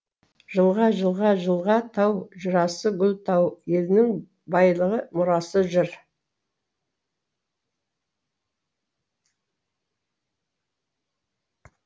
жылға жылға жылға тау жырасы гүл тау елінің байлығы мұрасы жыр